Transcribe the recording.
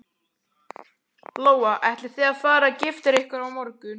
Lóa: Ætlið þið að fara að gifta ykkur á morgun?